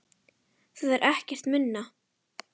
Það er ekkert minna!